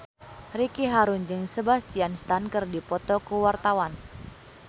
Ricky Harun jeung Sebastian Stan keur dipoto ku wartawan